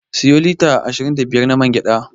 Siyo lita ashirin da biyar na man gyaɗa.